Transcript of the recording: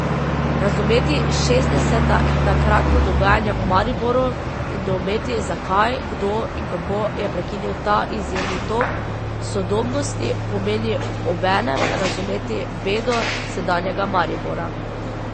Razumeti šestdeseta in takratno dogajanje v Mariboru in doumeti, zakaj, kdo in kako je prekinil ta izjemni tok sodobnosti, pomeni obenem razumeti bedo sedanjega Maribora.